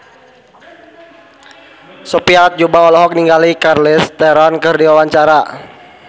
Sophia Latjuba olohok ningali Charlize Theron keur diwawancara